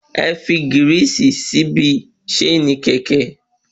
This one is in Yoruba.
Ẹfi gírìsì síbi ṣéènì kẹ̀kẹ́